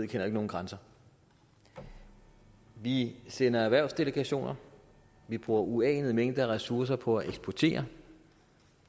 kender nogen grænser vi sender erhvervsdelegationer vi bruger uanede mængder af ressourcer på at eksportere